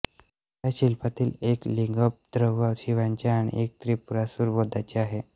त्या शिल्पांतील एक लिंगोद्भव शिवाचे आणि एक त्रिपुरासुर वधाचे आहे